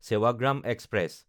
Sevagram express